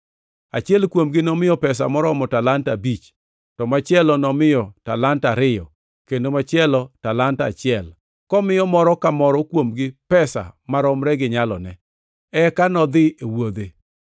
Achiel kuomgi nomiyo pesa moromo talanta abich, to machielo nomiyo talanta ariyo, kendo machielo talanta achiel; komiyo moro ka moro kuomgi pesa maromre gi nyalone. Eka nodhi e wuodhe.